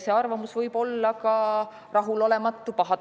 See arvamus võib olla ka rahulolematu või pahatahtlik.